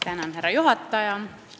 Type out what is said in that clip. Tänan, härra juhataja!